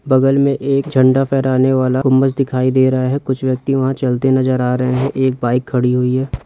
बगल में एक झण्डा फेहराने वाला गुंबज दिखाई दे रहा है कुछ व्यक्ति वहाँ चलते नजर आ रहे है एक बाइक खड़ी हुई हैं।